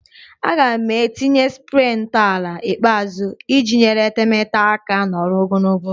A ga-etinye spree ntọala ikpeazụ iji nyere etemeete aka nọrọ ogologo oge